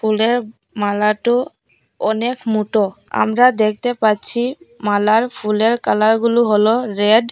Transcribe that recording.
ফুলের মালাটো অনেক মোটো আমরা দেখতে পাচ্ছি মালার ফুলের কালার গুলো হলো রেড ।